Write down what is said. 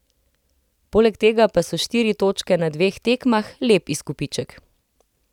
Poleg tega pa so štiri točke na dveh tekmah lep izkupiček.